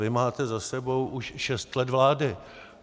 Vy máte za sebou už šest let vlády.